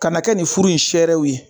Ka na kɛ nin furu in serew ye